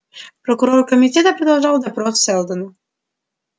прокурор комитета продолжал допрос сэлдона